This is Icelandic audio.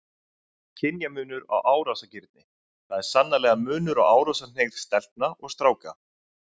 Kynjamunur á árásargirni Það er sannarlega munur á árásarhneigð stelpna og stráka.